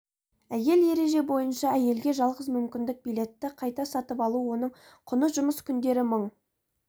әйел ереже бойынша әйелге жалғыз мүмкіндік билетті қайта сатып алу оның құны жұмыс күндері мың